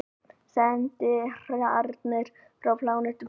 Sendiherrarnir frá plánetunni Púkó.